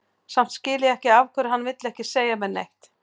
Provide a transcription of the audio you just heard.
Samt skil ég ekki af hverju hann vill ekki segja mér neitt.